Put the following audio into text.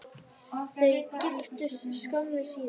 Þau giftust skömmu síðar.